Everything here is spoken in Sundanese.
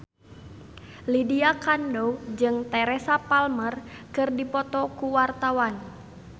Lydia Kandou jeung Teresa Palmer keur dipoto ku wartawan